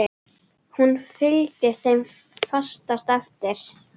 Hún fylgdi þeim fast eftir.